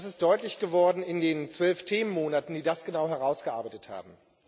Das ist deutlich geworden in den zwölf Themenmonaten, die das genau herausgearbeitet haben.